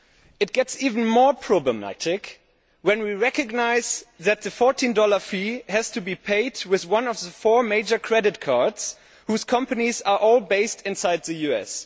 It gets even more problematic when we recognise that the USD 14 fee has to be paid with one of the four major credit cards, whose companies are all based inside the US.